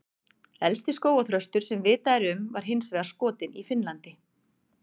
Elsti skógarþröstur sem vitað er um var hins vegar skotinn í Finnlandi.